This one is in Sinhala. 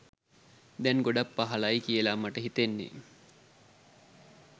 දැන් ගොඩක් පහලයි කියලා මට හිතෙන්නේ.